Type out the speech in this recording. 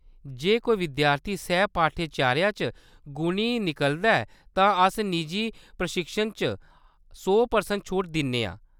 जे कोई विद्यार्थी सैह्-पाठ्यचर्या च गुणी निकलदा ऐ तां अस निजी प्रशिक्षण च सौ परसैंट छूट दिन्ने आं।